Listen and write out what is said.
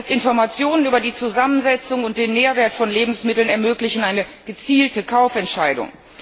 Erst Informationen über die Zusammensetzung und den Nährwert von Lebensmitteln ermöglichen eine gezielte Kaufentscheidung.